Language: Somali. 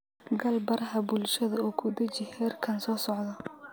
gal baraha bulshada oo ku dheji heerkan soo socda